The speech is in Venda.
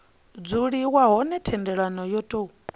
dzuliwa hone thendelo yo tou